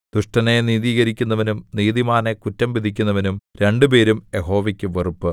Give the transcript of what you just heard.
ദുഷ്ടനെ നീതീകരിക്കുന്നവനും നീതിമാനെ കുറ്റം വിധിക്കുന്നവനും രണ്ടുപേരും യഹോവയ്ക്ക് വെറുപ്പ്